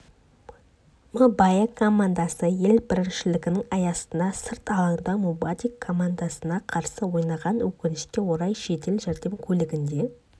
мбао командасы ел біріншілігінің аясында сырт алаңда мвадуи командасына қарсы ойнаған өкінішке орай жедел жәрдем көлігінде